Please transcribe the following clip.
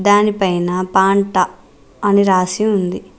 దానిపైన పాంట అని రాసి ఉంది.